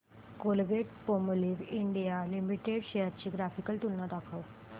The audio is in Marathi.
कोलगेटपामोलिव्ह इंडिया लिमिटेड शेअर्स ची ग्राफिकल तुलना दाखव